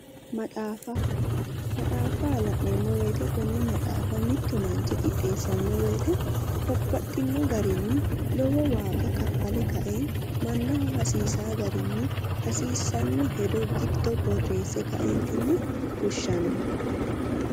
Maxaafa maxaafa la'neemmo woyiite konne maxaafa mittu manchi qixxeessanno woyiite babbaxinno garinni lowo waaga kaffale kae mannaho hasiisaa garinni hasiissanno hedo giddo birreesse kaeentinni fushshanno.